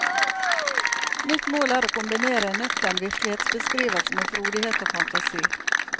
Mitt mål er å kombinere en nøktern virkelighetsbeskrivelse med frodighet og fantasi.